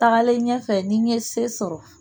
Tagalen ɲɛfɛ ni n ye se sɔrɔ